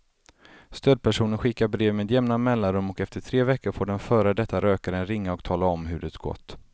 Stödpersonen skickar brev med jämna mellanrum och efter tre veckor får den före detta rökaren ringa och tala om hur det gått.